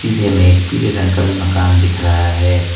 सीधे में एक पीले रंग का भी मकान दिख रहा है।